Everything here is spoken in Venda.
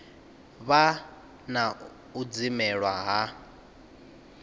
vha na u dzimelwa ha